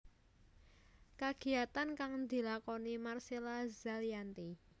Kagiyatan kang dilakoni Marcella Zalianty